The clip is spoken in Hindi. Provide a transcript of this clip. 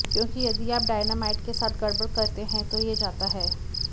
क्योंकि यदि आप डायनामाइट के साथ गड़बड़ करते हैं तो यह जाता है